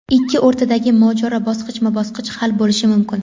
ikki o‘rtadagi mojaro bosqichma-bosqich hal bo‘lishi mumkin.